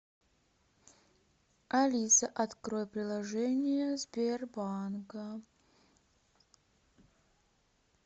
алиса открой приложение сбербанка